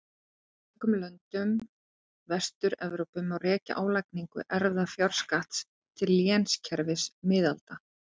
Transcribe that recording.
Í mörgum löndum Vestur-Evrópu má rekja álagningu erfðafjárskatts til lénskerfis miðalda.